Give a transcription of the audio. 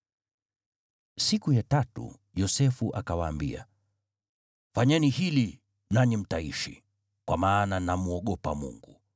Siku ya tatu Yosefu akawaambia, “Fanyeni hili nanyi mtaishi, kwa maana namwogopa Mungu: